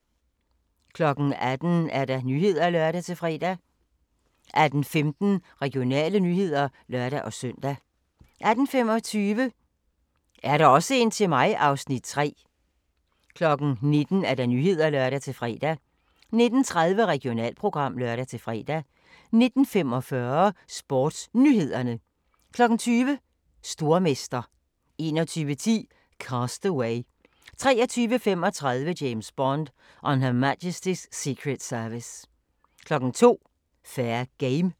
18:00: Nyhederne (lør-fre) 18:15: Regionale nyheder (lør-søn) 18:25: Er der også en til mig? (Afs. 3) 19:00: Nyhederne (lør-fre) 19:30: Regionalprogram (lør-fre) 19:45: SportsNyhederne 20:00: Stormester 21:10: Cast Away 23:35: James Bond: On Her Majesty's Secret Service 02:00: Fair Game